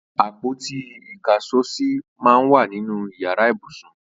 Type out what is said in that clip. Àpóti ìkáṣọsì mà n wà ninú iyàrá ibúsún